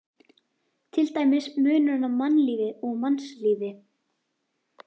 Til dæmis munurinn á mannlífi og mannslífi.